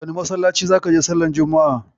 Wane masallaci zaka je sallar juma'a?